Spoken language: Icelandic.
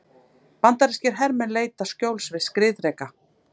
Bandarískir hermenn leita skjóls við skriðdreka.